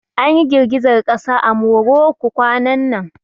An ƴi girgizar kasa a Morocco kwanan nan.